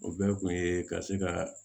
O bɛɛ kun ye ka se ka